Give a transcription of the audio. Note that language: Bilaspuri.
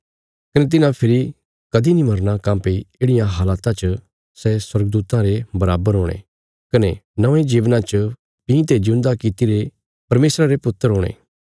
कने तिन्हां फेरी कदीं नीं मरना काँह्भई येढ़िया हालता च सै स्वर्गदूतां रे बराबर हुणे कने नौंये जीवना च भीं ते जिऊंदा किति रे परमेशरा रे पुत्र हुणे